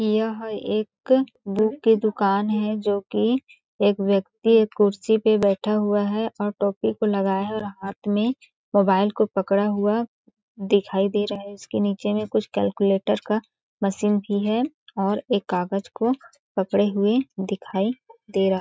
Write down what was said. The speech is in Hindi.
यह एक बुक की दिकान है जो कि एक व्यक्ति एक कुर्सी पे बैठा हुआ है और टोपी को लगाया हुआ है और हाथ में मोबाइल को पकड़ा हुआ दिखाई दे रहा है इसके नीचे में एक कैलकुलेटर का मशीन भी और एक कागज को पकड़े हुए दिखाई दे रहा है।